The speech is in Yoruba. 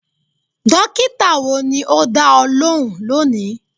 Dókítà wo ni o dá ọ lóhùn lónìí?